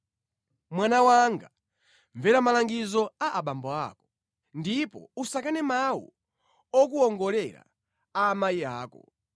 Mwana wanga, mvera malangizo a abambo ako ndipo usakane mawu okuwongolera a amayi ako.